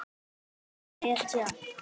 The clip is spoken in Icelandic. Pabbi var hetja.